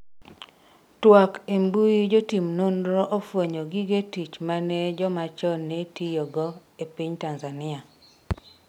twak embui jotim nonro ofwenyo gige tich mane joma chon ne tiyo go e piny Tanzania